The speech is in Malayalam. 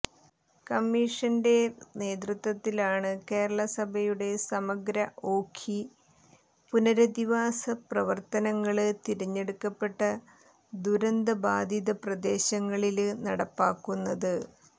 കമ്മിഷന്റെ നേതൃത്വത്തിലാണ് കേരളസഭയുടെ സമഗ്ര ഓഖി പുനരധിവാസപ്രവര്ത്തനങ്ങള് തിരഞ്ഞെടുക്കപ്പെട്ട ദുരന്തബാധിതപ്രദേശങ്ങളില് നടപ്പാക്കുന്നത്